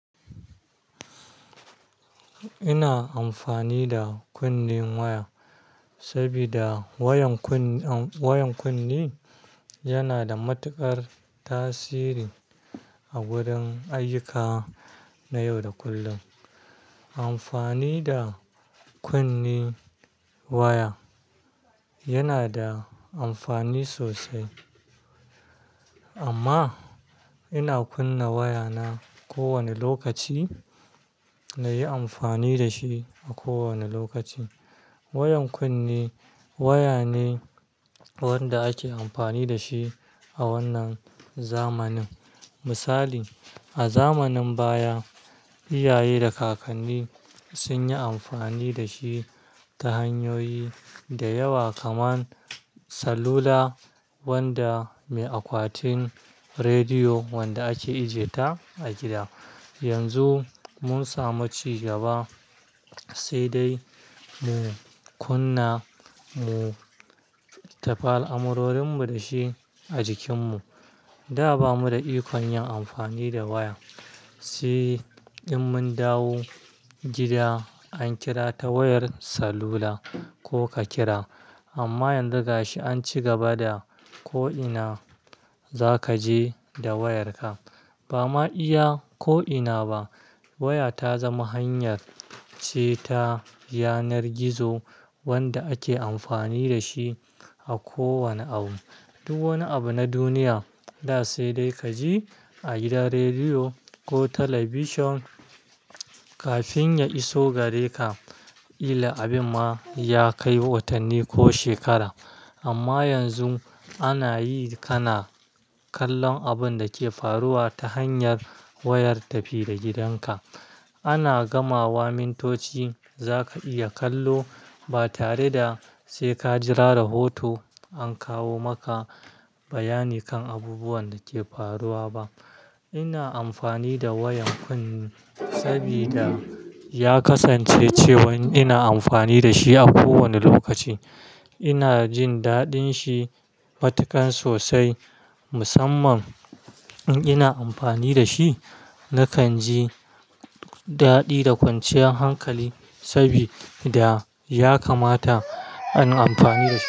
Ina amfani da kunne waya saboda wayan kunne, wayan kunne yana da matuƙar tasiri a gurin ayyuka na yau da kullum. Amfani da kunne waya yana da amfani sosai amma ina kunna waya na kowane lokaci na yi amfani da shi a kowane lokaci. Wayan kunne waya ne wanda ake amfani da shi a wannan zamanin. Misali, a zamanin baya iyaye da kakanni sun yi amfani da shi ta hanyoyi da yawa kamar salula wanda mai akwatin rediyo wanda ake ije ta a gida. Yanzu mun samu ci gaba sai dai mu kunna mu tafal amurorin mu da shi a jikin mu. Da ba mu da ikon yin amfani da waya, sai in mun dawo gida an kira ta wayar salula ko ka kira. Amma yanzu ga shi an ci gaba da ko ina za ka je da wayarka. Ba ma iya ko ina ba waya ta zama hanyar ce ta yanar gizo wanda ake amfani da shi a kowane abu, duk wani abu na duniya. Da sai dai ka je a gidan rediyo ko talabishin kafin ya iso gare ka. Ila abin ma ya kai watanni ko shekaru. Amma yanzu ana yi kana kallon abun da ke faruwa ta hanyar wayar tafi da gidanka. Ana gamawa mintoci za ka iya kallo ba tare da sai ka jira rahoto an kawo maka bayani kan abubuwan da ke faruwa ba. Ina amfani da wayan kunne saboda ya kasance cewan ina amfani da shi a kowane lokaci. Ina jin daɗin shi matuƙan sosai. Musamman in ina amfani da shi, nakan ji daɗi da kwanciyar hankali saboda ya kamata in amfani da shi.